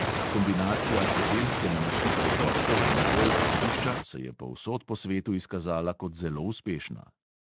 Kombinacija hotelske namestitve gostov in golf igrišča se je povsod po svetu izkazala kot zelo uspešna.